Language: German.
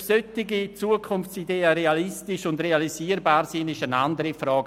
Ob solche Zukunftsideen realistisch und realisierbar sind, ist eine andere Frage.